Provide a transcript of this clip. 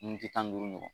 N ti tan ni duuru ɲɔgɔn